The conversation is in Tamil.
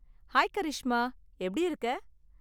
ஹாய் கரிஷ்மா, எப்படி இருக்க?